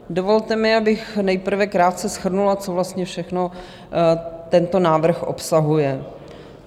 Dovolte mi, abych nejprve krátce shrnula, co vlastně všechno tento návrh obsahuje.